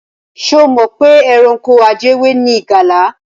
Ṣé o mọ̀ pé ẹranko ajẹwé ni ìgalà?